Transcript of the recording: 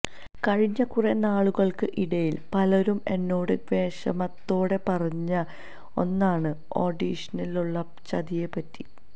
കഴിഞ്ഞ കുറേ നാളുകള്ക്ക് ഇടയില് പലരും എ്നോട് വിഷമത്തോടെ പറഞ്ഞ ഒന്നാണ് ഓഡിഷനിലുള്ള ചതിയെ പറ്റി